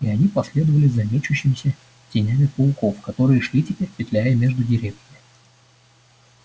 и они последовали за мечущимися тенями пауков которые шли теперь петляя между деревьями